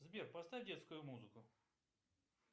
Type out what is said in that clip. сбер поставь детскую музыку